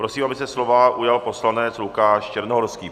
Prosím, aby se slova ujal poslanec Lukáš Černohorský.